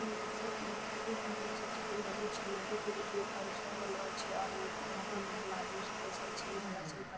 जैसा की अहां सब देख रहल छिऐ की नदी छै नदी के बीच में पांच छो गो नाव छै और उ नाव पर मतलब आदमी सब बैसल छै इस पार से ओय पार --